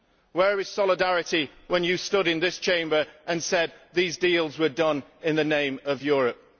Where is solidarity when you stood in this Chamber and said that these deals were done in the name of Europe?